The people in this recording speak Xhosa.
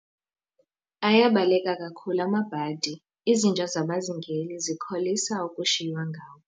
Ayabaleka kakhulu amabhadi, izinja zabazingeli zikholisa ukushiywa ngawo.